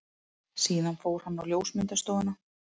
Síðan fór hann á ljósmyndastofuna.